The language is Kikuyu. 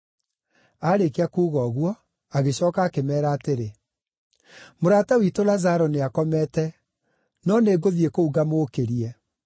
Aarĩkia kuuga ũguo, agĩcooka akĩmeera atĩrĩ, “Mũrata witũ Lazaro nĩakomete; no nĩngũthiĩ kũu ngamũũkĩrie.”